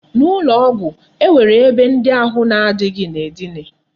N'ụlọ ọgwụ, e nwere akwa ebe ndị ahụ na adịghị na-edina.